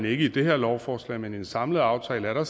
ikke i det her lovforslag men i den samlede aftale er der